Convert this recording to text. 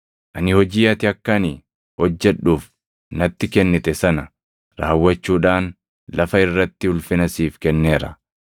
Ani hojii ati akka ani hojjedhuuf natti kennite sana raawwachuudhaan lafa irratti ulfina siif kenneera.